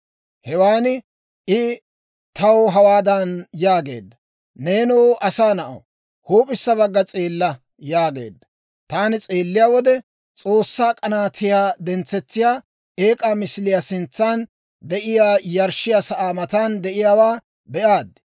Hewan I taw hawaadan yaageedda; «Neenoo asaa na'aw, huup'issa bagga s'eella» yaageedda. Taani s'eelliyaa wode, S'oossaa k'anaatiyaa dentsetsiyaa eek'aa misiliyaa sintsan de'iyaa yarshshiyaa sa'aa matan de'iyaawaa be'aad.